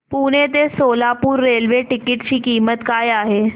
पुणे ते Solapur railway ticket ची किंमत काय आहे